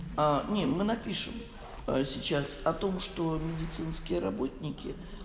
а нет мы напишем сейчас о том что медицинские работники